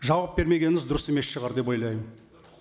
жауап бермегеніңіз дұрыс емес шығар деп ойлаймын